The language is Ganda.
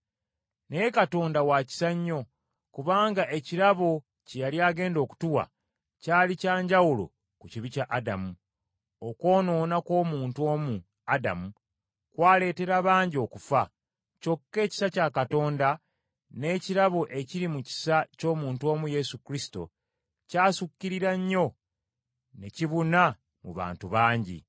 Naye Katonda wa kisa nnyo, kubanga ekirabo kye yali agenda okutuwa, kyali kya njawulo ku kibi kya Adamu. Okwonoona kw’omuntu omu, Adamu, kwaleetera bangi okufa, kyokka ekisa kya Katonda n’ekirabo ekiri mu kisa ky’omuntu omu Yesu Kristo kyasukkirira nnyo ne kibuna mu bantu bangi.